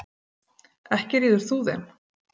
Ekki ríður þú þeim.